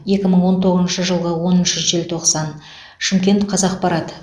екі мың он тоғызыншы жылғы оныншы желтоқсан шымкент қазақпарат